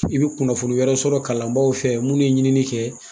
I be kunnafoni wɛrɛ sɔrɔ kalanbaaw fɛ munnu ye ɲinini kɛ